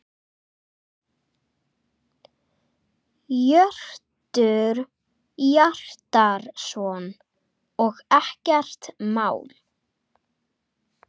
Hjörtur Hjartarson: Og ekkert mál?